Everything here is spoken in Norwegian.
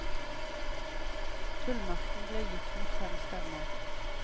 Fullmakten ble gitt mot fem stemmer.